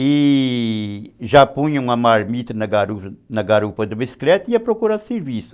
e já punha uma marmita na garupa garupa do bicicleta e ia procurar serviço.